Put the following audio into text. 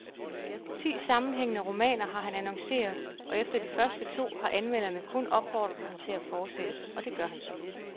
Ti sammenhængende romaner har han annonceret, og efter de første to har anmelderne kun opfordret ham til at fortsætte, og det gør han så.